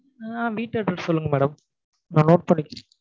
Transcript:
ஆஹ் வீட்டு address சொல்லுங்க madam நான் note பண்ணிக்கிறேன்